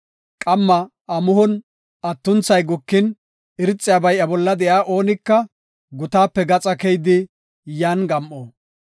Qamma amuhon atuntethay gukin, irxabay iya bolla de7iya oonika gutaape gaxa keyidi yan gam7o.